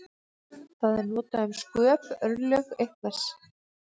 Það er notað um sköp, örlög einhvers.